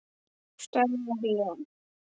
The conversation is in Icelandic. Stærðar lón.